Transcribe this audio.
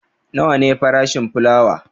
Nawa ne farashin fulawa?